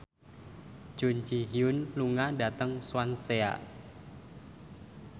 Jun Ji Hyun lunga dhateng Swansea